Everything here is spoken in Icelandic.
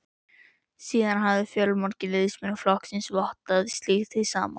Síðan hafa fjölmargir liðsmenn flokksins vottað slíkt hið sama.